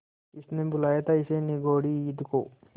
किसने बुलाया था इस निगौड़ी ईद को